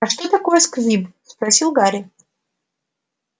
а что такое сквиб спросил гарри